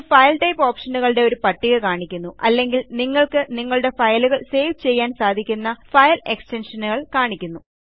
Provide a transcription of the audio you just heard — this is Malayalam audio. ഇത് ഫയൽ ടൈപ്പ് ഓപ്ഷനുകളുടെ ഒരു പട്ടിക കാണിക്കുന്നു അല്ലെങ്കിൽ നിങ്ങൾക്ക് നിങ്ങളുടെ ഫയലുകൾ സേവ് ചെയ്യാൻ സാധിക്കുന്ന ഫയൽ എക്സ്റ്റൻഷനുകൾ കാണിക്കുന്നു